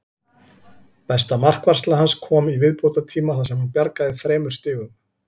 Besta markvarsla hans kom í viðbótartíma þar sem hann bjargaði þremur stigum.